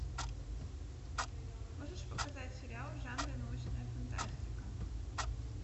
можешь показать сериал в жанре научная фантастика